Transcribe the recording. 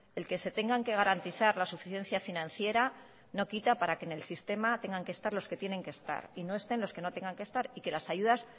el que se tengan que garantizar la suficiencia financiera no quita para que en el sistema tengan que estar los que tienen que estar y no estén los que no tengan que estar y que las ayudas